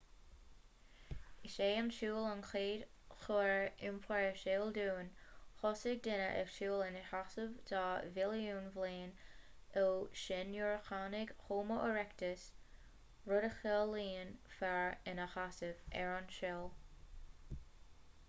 is é an siúl an chéad chóir iompair is eol dúinn thosaigh daoine ag siúl ina seasamh dhá mhilliún bliain ó shin nuair a tháinig homo erectus rud a chiallaíonn fear ina sheasamh ar an saol